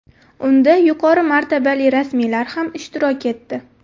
Unda yuqori martabali rasmiylar ham ishtirok etdi.